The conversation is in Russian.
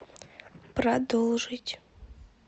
продолжить